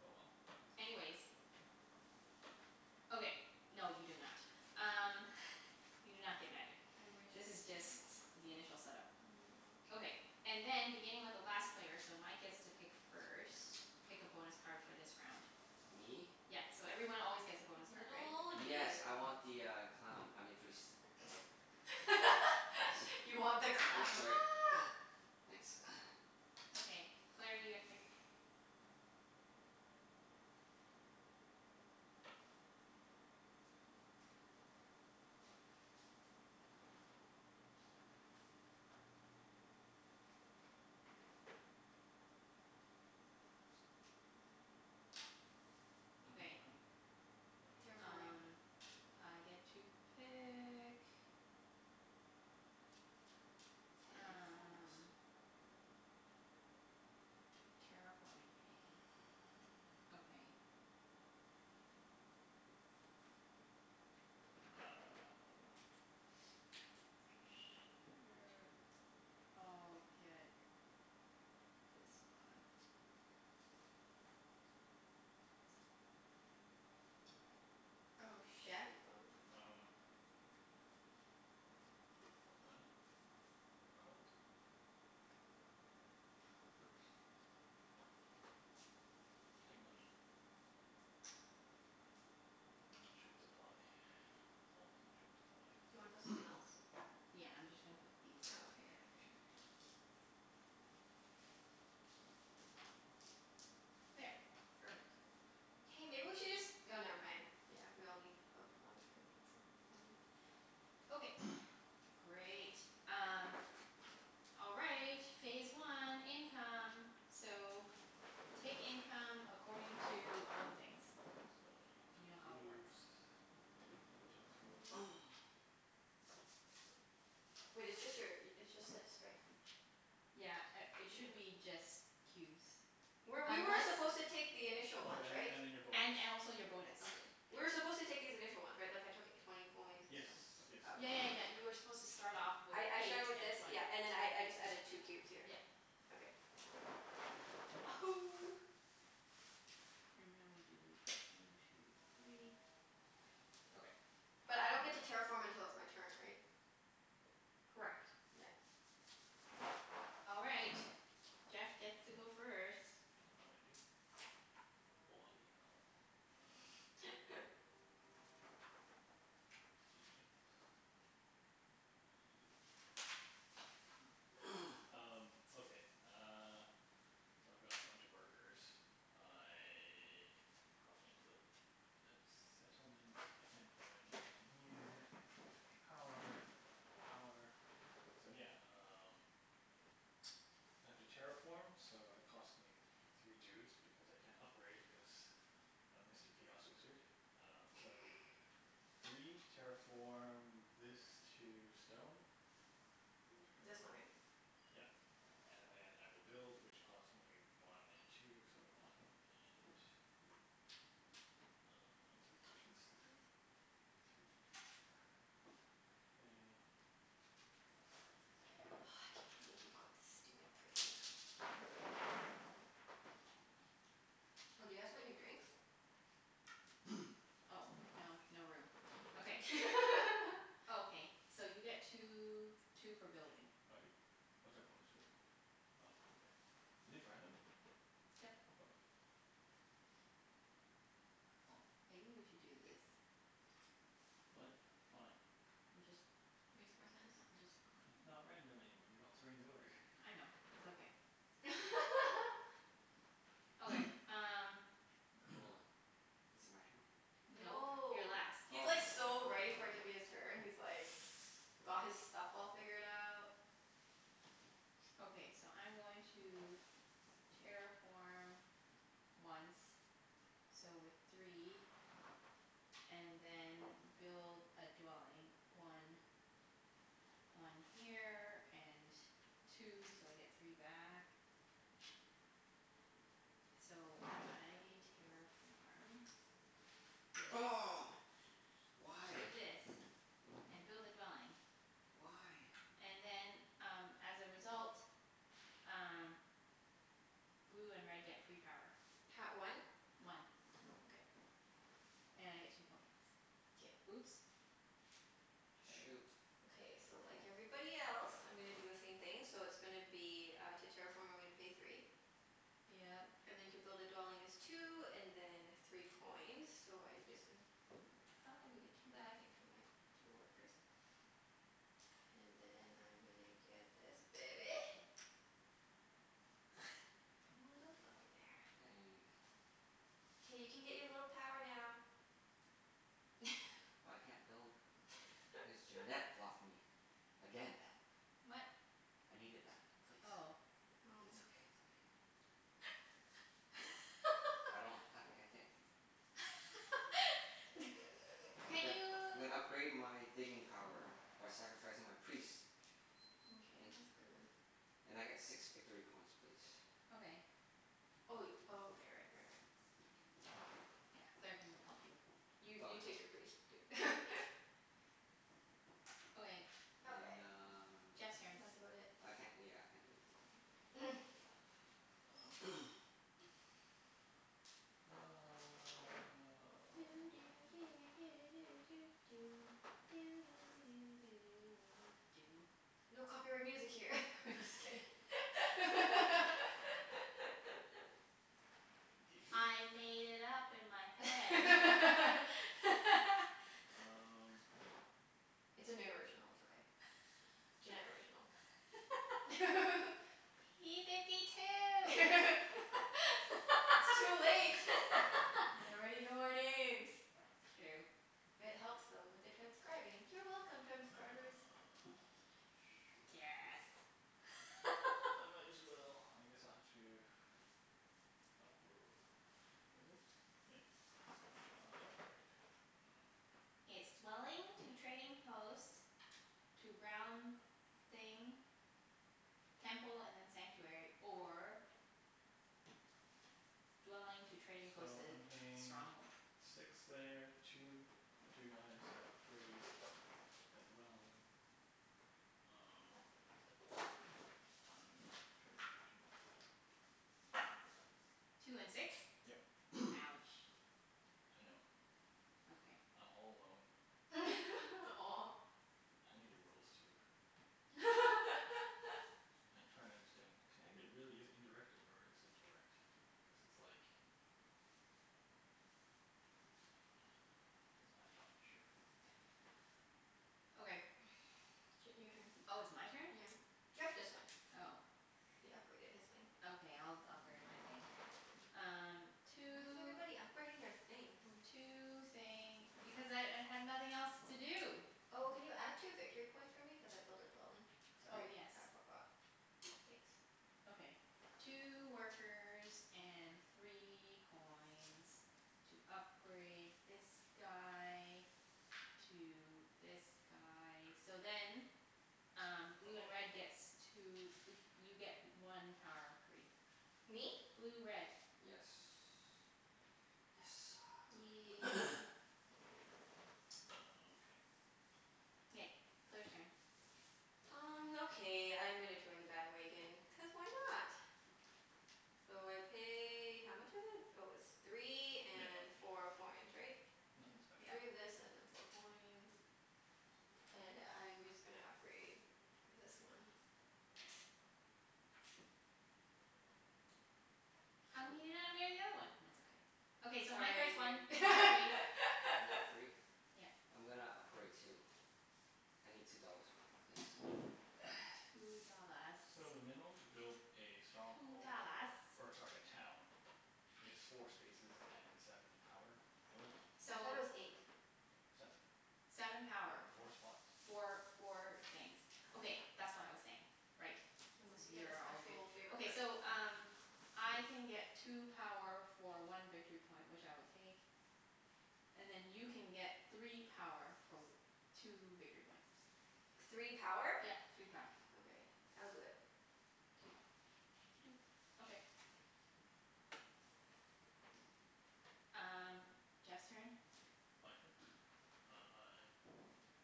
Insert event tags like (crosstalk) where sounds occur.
Oh well. Anyways. Okay. No, you do not. Um (laughs) you do not get magic. I wish This I is just did. the initial set up. Mm, yeah. Okay. And then beginning with the last player, so Mike gets to pick first. Pick a bonus card for this Please. round. Me? Yep, so everyone always gets a bonus card, Little right? old Yes, you. I want the uh clown. I mean priest. (laughs) You want the Thank. Oops, clown. sorry. (noise) Thanks. (noise) Okay. Claire, you get to pick. (inaudible) that Okay. one. Oh shit. Terraforming. Um I get to pick. Terraform us. Um. Terraforming, hey? (noise) Okay. I dunno. Sure, I'll get this one. Oh Jeff? shoot. Oh. Um, (inaudible) money? Cult. Um. Workers. I'll take money. I'm in short supply. Always in short supply. Do you wanna put something else? (noise) Yeah, I'm just gonna put these Oh, okay, here. yeah. For sure. Here. There. Perfect. Hey, maybe we should just, oh never mind. Yeah, we all need, of, one of everything, so never mind. Yep. Okay, (noise) great. Um All right. Phase one. Income. So, take income according to all the things. You know So I how get three it cubes. works. One two three. (noise) Wait, it's (inaudible) just your, it's just that, sorry. Yeah a- Yeah. it should be just Were, cubes. we were Unless supposed to take the initial Oh, ones, and then right? and then your bonus. And and Your also bonus. your Okay. bonus. We were supposed to take these initial ones, right? Like, I took twenty coins and Yes, stuff? yes. Oh, okay. Yeah yeah yeah, you were supposed to start off with I I eight started with and this, twenty. yeah, and then I I just added two cubes here. Yep. Okay. (noise) And now we do one two three. Okay. But I don't get to terraform until it's my turn, right? Correct. Yeah. All right. Jeff gets to go first. Oh, I do? Bloody hell. Um (laughs) Yep. Yep. (noise) (laughs) Um, okay uh So I've got a bunch of workers. I probably need to build a settlement. I can't buy anything here. I can't use any power. I don't have any power. So yeah, um (noise) I have to terraform so it cost me three dudes, because I can't upgrade, cuz of Mr. Chaos Wizard. Um so, (noise) three to terraform this to stone. Where It's this one, though? right? Yep. And then I will build which costs me one and two, so one and Um, Don't touch my workers. I guess (inaudible) (noise) three, K. Oh, I can't believe you got the stupid priest. Shit. (inaudible) Oh, do you guys want your drinks? (noise) Oh, no. No room. Okay. (laughs) Okay. So you get two two for building. I do? What's our bonus for the round? Oh, okay. Are these random? Yep. Okay. Oh, maybe we should do this. What? Why? I'm just Makes more sense. I'm just It's not random anymore. You're altering the order. I know. It's okay. (laughs) Okay, um Cool. (noise) Is it my turn? Nope. You're No. last. He's like Oh. so ready for it to be his turn. He's like got his stuff all figured out. (noise) Okay, so I'm going to terraform once. So with three And then build a dwelling. One one here and two, so I get three back. So I terraform this Oh, to why? this and build a dwelling. Why? And then um as a result um blue and red get free power. Ha- one? One. Okay. And I get two points. K. Oops. There we go. Shoot. Okay, so like everybody else I'm gonna do the same thing. So it's gonna be uh, to terraform I'm gonna pay three. Yep. And then to build a dwelling is two, and then three coins. So I'm just gon- Five, and get two back, and pay my two workers. And then I'm gonna get this baby. (laughs) Put a little dwelling there. Dang. K, you can get your little power now. I can't build cuz Junette (laughs) blocked me again. What? I needed that place. But it's Oh. okay, it's Oh. okay. (laughs) I (laughs) don't, I I can't (laughs) (laughs) I'm Can't gonna you I'm gonna upgrade my digging power by sacrificing my priest. Mkay, And that's good move. (noise) and I get six victory points please. Okay. Oh wai- oh, okay, right, right, right. Yeah. Claire can help you. You Oh, you take yeah. your priest, dude. (laughs) Okay. Okay. And uh, Jeff's turn. That's about it. I can't, yeah, I can't do anything. (noise) (noise) Um (noise) Doo doo do do (noise) do doo doo. Doo doo do do do doo doo doo. No copyright music here. (laughs) I'm just kidding. (laughs) (laughs) Do you? I made it up (noise) in my head. (laughs) (laughs) Um It's an original. It's okay. Junette original. (laughs) (laughs) P fifty (laughs) two. It's (laughs) too late. They already know our names. It's true. It helps them with the transcribing. You're welcome, transcribers. Ah, shoot. Guess. I (laughs) might as well, I guess I'll have to Upgr- is it? Yeah. I'll have to upgrade. I dunno. It's dwelling to trading post to round thing Temple and then sanctuary. Or dwelling to trading post So to I'm paying stronghold. six there. Two, two guys at gray. A dwelling. Um, I don't even know. Sure, the original. Two and six? Yep. (noise) Ouch. I know. Okay. I'm all alone. (laughs) Aw. I need the rules, too. (laughs) I'm trying to understand. Can I g- really use indirect, or is it direct? Cuz it's like (noise) Cuz I'm not sure. Okay. (noise) Ch- your turn. Oh, it's my turn? Yeah. Jeff just went. Oh. He upgraded his thing. Okay, I'll d- upgrade my thing. Um Why is two everybody upgrading their thing? Hmm. two thing. Because I I have nothing else to do. Oh, can you add two victory points for me? Cuz I built a dwelling. Oh, Sorry, yes. I forgot. Thanks. Okay. Two workers and three coins. To upgrade this guy to this guy. So then um blue and Oh. red gets two, like you get one power free. Me? Blue red. Yes. Yes sir. Yay. (noise) Oh, okay. K. Claire's turn. Um okay, I'm gonna join the bandwagon, cuz why not? So I pay, how much is it? Oh, it's three Yeah, and no four coins, yeah, right? nothing special. Three Yep. of this and then four coins. And I'm just gonna upgrade this one. (noise) How come Poo. you didn't upgrade the other one? It's okay. Okay, so Mike Sorry gets one. dude. One three One for (laughs) free? Yep. I'm gonna upgrade too. I need two dollars back please. (noise) Two dollars. So the minimum to build a Two stronghold dollars. or, or sorry, a town is four spaces and seven power worth. I So thought it was (noise) eight. Seven. Seven Oh, power. Four okay. spots. Okay. Four four things. Okay, that's what I was saying. Right. Unless you get a You're all good. special favor Okay, card. so um I can get two power for one victory point, which I will take. And then you can get three power for w- two victory points. Three power? Yep. Three power. Okay. I'll do it. (noise) Two. Doot. Okay. Um Jeff's turn. My turn? Um I